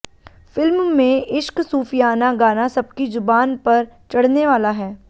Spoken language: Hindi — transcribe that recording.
फिल्म में इश्क सूफियाना गाना सबकी जुबान पर चढ़ने वाला है